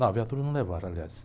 Não, a viatura não levaram, aliás.